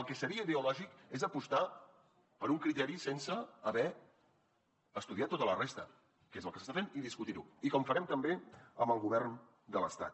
el que seria ideològic és apostar per un criteri sense haver estudiat tota la resta que és el que s’està fent i discutir ho i com farem també amb el govern de l’estat